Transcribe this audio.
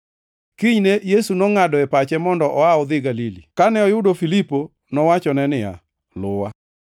Kinyne Yesu nongʼado e pache mondo oa odhi Galili. Kane oyudo Filipo, nowachone niya, “Luwa.”